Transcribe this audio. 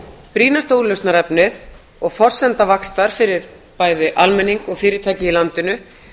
brýnasta úrlausnarefnið og forsenda vaxtar fyrir bæði almenning og fyrirtæki í landinu